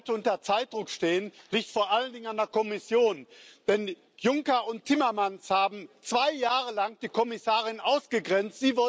Dass wir heute unter Zeitdruck stehen, liegt vor allen Dingen an der Kommission, denn Juncker und Timmermans haben zwei Jahre lang die Kommissarin ausgegrenzt.